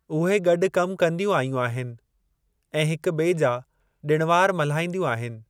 उहे गॾु कमु कंदियूं आयूं आहिनि ऐं हिक बि॒ए जा डि॒ण वार मल्हाईंदियूं आहिनि।